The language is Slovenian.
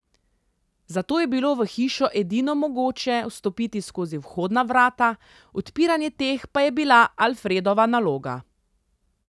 Zato je bilo v hišo edino mogoče vstopiti skozi vhodna vrata, odpiranje teh pa je bila Alfredova naloga.